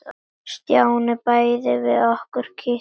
Stjáni bætti við nokkrum kitlum.